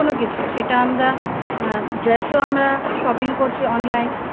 সেটা আমরা আ Dress ও আমরা shopping করছি online